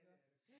Iggå